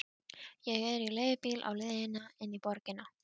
Ég er í leigubíl á leiðinni inn í borgina.